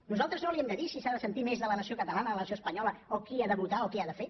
nosaltres no li hem de dir si s’ha de sentir més de la nació catalana de la nació espanyola o qui ha de votar o què ha de fer